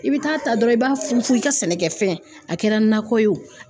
I bi taa ta dɔrɔn i b'a funfun i ka sɛnɛkɛfɛn a kɛra nakɔ ye o